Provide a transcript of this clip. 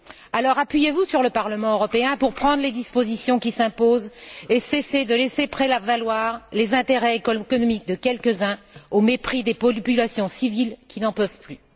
Alors, appuyez vous sur le Parlement européen pour prendre les dispositions qui s'imposent et cessez de laisser prévaloir les intérêts économiques de quelques uns au mépris des populations civiles qui n'en peuvent plus!